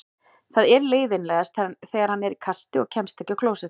Það er leiðinlegast þegar hann er í kasti og kemst ekki á klósettið.